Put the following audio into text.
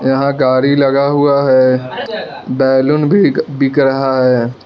यहां गाड़ी लगा हुआ है बैलून भी बिक रहा है।